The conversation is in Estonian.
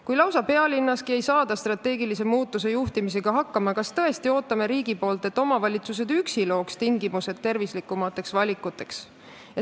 Kui lausa pealinnaski ei saada strateegilise muutuse juhtimisega hakkama, siis kas tõesti ootame riigina, et omavalitsused üksi looks tingimused tervislikumateks valikuteks?